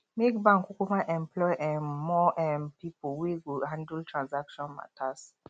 make bank kukuma employ um more um pipol wey go handle transaction matas